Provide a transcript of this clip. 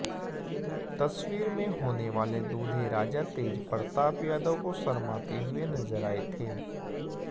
तस्वीर में होनेवाले दूल्हे राजा तेजप्रताप यादव को शर्माते हुए नजर आए थे